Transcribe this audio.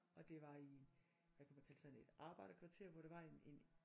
Og det var i hvad kan man kalde sådan et arbejderkvarter hvor der var en en